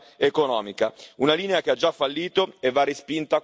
Una linea che ha già fallito e che va respinta con forza al mittente.